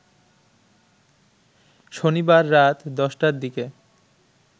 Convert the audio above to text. শনিবার রাত ১০টার দিকে